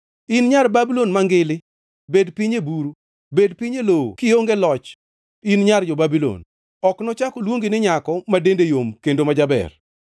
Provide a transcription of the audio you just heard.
In Nyar Babulon Mangili bed piny e buru; bed piny e lowo kionge loch in nyar jo-Babulon. Ok nochak oluongi ni nyako ma dende yom kendo ma jaber.